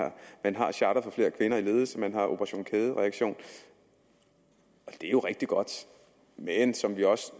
man har charter for flere kvinder i ledelse man har operation kædereaktion og det er rigtig godt men som vi også